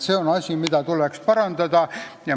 See on asi, mida tuleb parandada.